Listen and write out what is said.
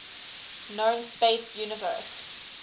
known space universe